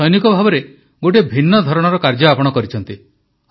ଜଣେ ସୈନିକ ଭାବେ ଗୋଟିଏ ଭିନ୍ନ ଧରଣର କାର୍ଯ୍ୟ ଆପଣ କରିଛନ୍ତି